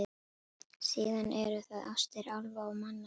Síðan eru það ástir álfa og manna, segi ég.